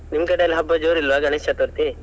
ನಿಮ್ ಕಡೆ ಎಲ್ಲ ಹಬ್ಬ ಜೋರ್ ಇಲ್ವಾ ಗಣೇಶ್ ಚತುರ್ಥಿ?